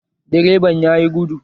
Direban ya yi gudu